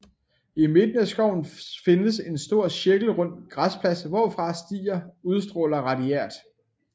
I midten af skoven findes en stor cirkelrund græsplads hvorfra stier udstråler radiært